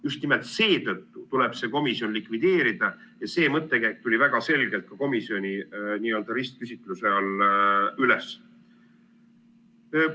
Just nimelt seetõttu tuleb see komisjon likvideerida ja see mõttekäik tuli väga selgelt ka komisjoni n-ö ristküsitluse all üles.